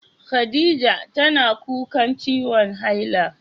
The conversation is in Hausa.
Khaɗijah tana kuƙan ciwon haila.